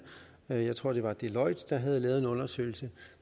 jeg tror det var deloitte der havde lavet en undersøgelse